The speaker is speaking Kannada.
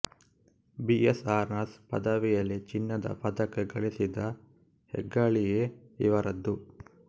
ಬಿ ಎಸ್ ಆನರ್ಸ್ ಪದವಿಯಲ್ಲಿ ಚಿನ್ನದ ಪದಕ ಗಳಿಸಿದ ಹೆಗ್ಗಳಿಎ ಇವರದು